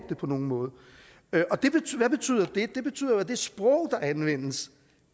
det på nogen måde hvad betyder det det betyder jo at det sprog der anvendes